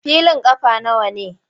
Filin ƙafa nawa ne?